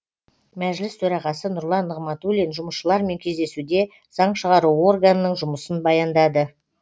мәжіліс төрағасы нұрлан нығматулин жұмысшылармен кездесуде заң шығару органның жұмысын баяндады